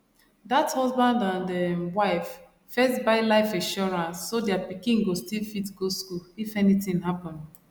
that husband and um wife first buy life insurance so their pikin go still fit go school if anything happen